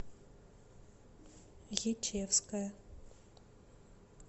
ечевская